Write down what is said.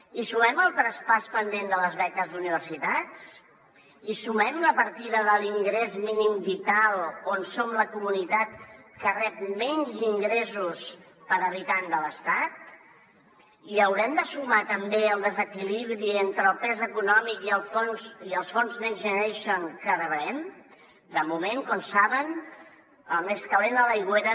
hi sumem el traspàs pendent de les beques d’universitats hi sumem la partida de l’ingrés mínim vital en què som la comunitat que rep menys ingressos per habitant de l’estat hi haurem de sumar també el desequilibri entre el pes econòmic i els fons next generation que rebrem de moment com saben el més calent a l’aigüera